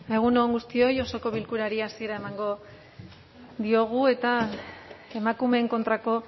egun on guztioi osoko bilkurari hasiera emango diogu eta emakumeen kontrako